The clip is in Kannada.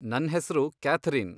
ನನ್ಹೆಸ್ರು ಕ್ಯಾಥರಿನ್.